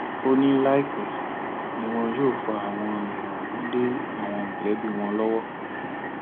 ó ní láìpẹ ni wọn yóò fa àwọn èèyàn ọhún lé àwọn mọlẹbí wọn lọwọ